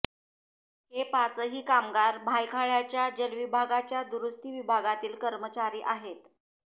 हे पाचही कामगार भायखळ्याच्या जलविभागाच्या दुरुस्ती विभागातील कर्मचारी आहेत